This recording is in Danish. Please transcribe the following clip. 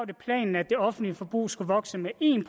det planen at det offentlige forbrug skulle vokse med en